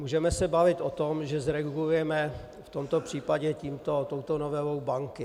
Můžeme se bavit o tom, že zregulujeme v tomto případě touto novelou banky.